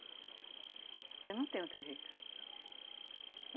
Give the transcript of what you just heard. Porque não tem outro jeito.